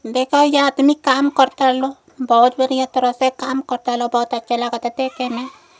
देख एइजा आदमी काम कर तर लो। बहोत बढ़िया तरीका से काम कर तर लो। बहोत अच्छा लागता देख के एमे।